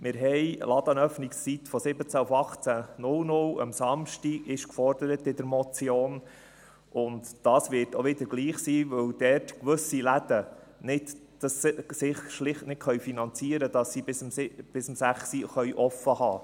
Die Motion fordert Ladenöffnungszeiten am Samstag von 17 auf 18 Uhr, und dann wird es auch wieder gleich sein, weil es gewisse Läden schlicht nicht finanzieren können, bis um 18 Uhr offen zu halten.